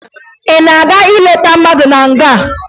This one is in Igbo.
Ị na-aga ileta mmadụ na nga?